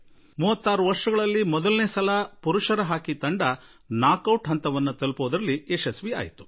ಕಳೆದ 36 ವರ್ಷಗಳಲ್ಲಿ ಮೊದಲ ಸಲ ಪುರುಷರ ಹಾಕಿ ತಂಡ ನಾಕೌಟ್ ಹಂತದವರೆಗೆ ತಲುಪುವಲ್ಲಿ ಯಶಸ್ಸು ಗಳಿಸಿತ್ತು